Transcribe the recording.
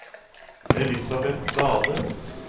Elisabeth Dahle